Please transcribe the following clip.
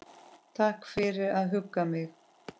Takk fyrir að hugga mig.